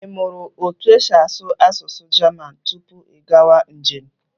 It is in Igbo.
I mụrụ otu esi asụ asụsụ Jaman tupu gị agawa njem?